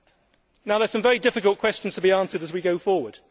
There are some very difficult questions to be answered as we go forward.